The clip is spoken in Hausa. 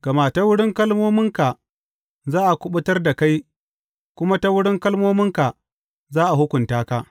Gama ta wurin kalmominka za a kuɓutar da kai, kuma ta wurin kalmominka za a hukunta ka.